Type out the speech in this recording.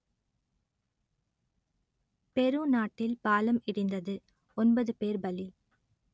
பெரு நாட்டில் பாலம் இடிந்தது ஒன்பது பேர் பலி